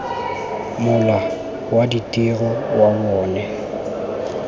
mola wa ditiro wa bona